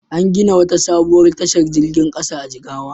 An gina wata sabuwar tashar jirgin ƙasa a Jigawa.